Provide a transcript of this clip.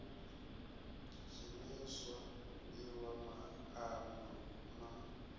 dzheniswa u fhiwa maana na